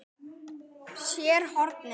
SÉR HORNIN.